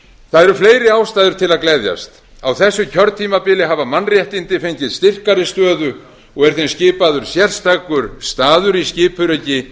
það eru fleiri ástæður til að gleðjast á þessu kjörtímabili hafa mannréttinda fengið styrkari stöðu og er þeim skipaður sérstakur staður í skipuriti